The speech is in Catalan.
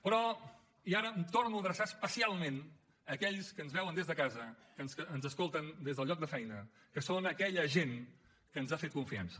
però i ara em torno a adreçar especialment a aquells que ens veuen des de casa que ens escolten des del lloc de feina que són aquella gent que ens ha fet confiança